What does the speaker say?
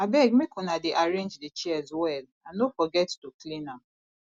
abeg make una dey arrange the chairs well and no forget to clean am